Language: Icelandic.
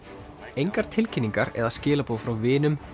engar tilkynningar eða skilaboð frá vinum